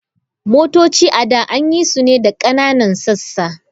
Motoci a da an yi su ne da ƙananan sassa.